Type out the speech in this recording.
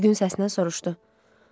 Üzgün səslə soruşdu.